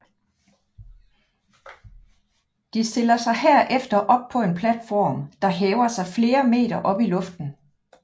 Till stiller sig derefter op på en platform der hæver sig flere meter op i luften